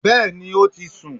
Bẹ́ẹ̀ni ó ti sùn